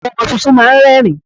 Àwọn ọmọ tuntun máa ń rẹ́rìń.